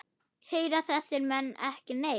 Heyra þessir menn ekki neitt?